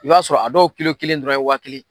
I b'a sɔrɔ a dɔw kilo kelen dɔrɔn ye waati kelen